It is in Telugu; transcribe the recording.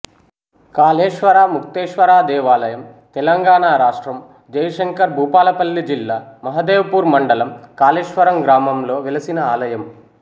కాళేశ్వర ముక్తేశ్వర దేవాలయం తెలంగాణ రాష్ట్రం జయశంకర్ భూపాలపల్లి జిల్లా మహదేవ్ పూర్ మండలం కాళేశ్వరం గ్రామంలో వెలసిన ఆలయం